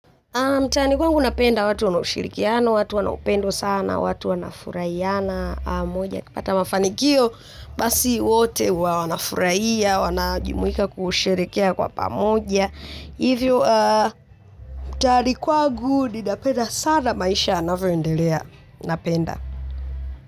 Mtaani kwangu ninapenda watu wana ushirikiano, watu wana upendo sana, watu wana furahiana moja. Ukipata mafanikio, basi wote huwa wanafurahia, wanajumuika kusherehekea kwa pamoja. Hivyo, mtaani kwangu ninapenda sama maisha yanavyoendelea napenda.